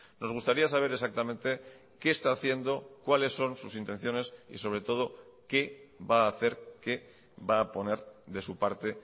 nos gustaría saber exactamente qué esta haciendo cuáles son sus intenciones y sobre todo qué va a hacer qué va a poner de su parte